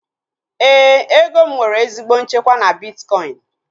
Éè, ego m nwere ezigbo nchekwa na bitkọin